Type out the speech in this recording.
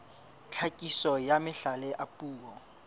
tlhakiso ya mahlale a puo